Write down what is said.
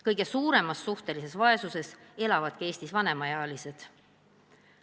Kõige suuremas suhtelises vaesuses elavadki Eestis vanemaealised.